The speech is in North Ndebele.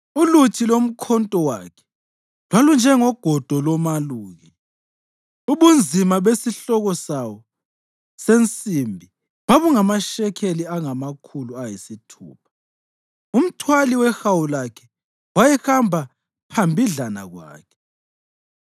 Uluthi lomkhonto wakhe lwalunjengogodo lomaluki, ubunzima besihloko sawo sensimbi bungamashekeli angamakhulu ayisithupha. Umthwali wehawu lakhe wayehamba phambidlana kwakhe.